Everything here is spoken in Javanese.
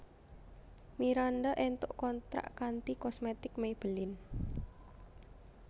Miranda entuk kontrak kanthi kosmetik Maybelline